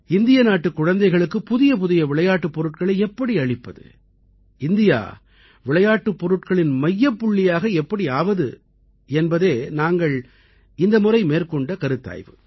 இந்திய நாட்டுக் குழந்தைகளுக்குப் புதியபுதிய விளையாட்டுப் பொருட்களை எப்படி அளிப்பது இந்தியா விளையாட்டுப் பொருட்களின் மையப்புள்ளியாக எப்படி ஆவது என்பதே நாங்கள் இந்த முறை மேற்கொண்ட கருத்தாய்வு